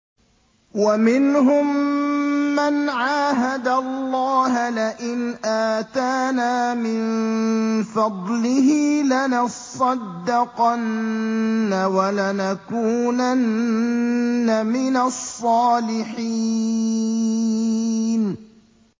۞ وَمِنْهُم مَّنْ عَاهَدَ اللَّهَ لَئِنْ آتَانَا مِن فَضْلِهِ لَنَصَّدَّقَنَّ وَلَنَكُونَنَّ مِنَ الصَّالِحِينَ